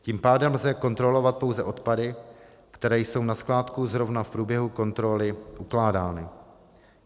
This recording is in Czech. Tím pádem lze kontrolovat pouze odpady, které jsou na skládku zrovna v průběhu kontroly ukládány.